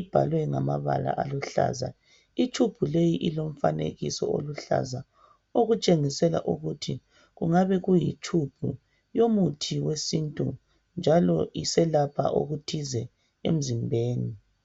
ebhalwe ngamabala aluhlaza, itshumbu leyi ilomfanekiso oluhlaza okutshengisela ukuthi kungabe kuyitshumbu yomuthi wesintu njalo iselapha okuthize emzimbeni.